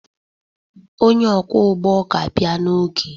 Onye ọkwọụgbọ ga-abịa n'oge